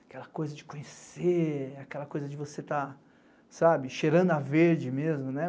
Aquela coisa de conhecer, aquela coisa de você estar, sabe, cheirando a verde mesmo, né?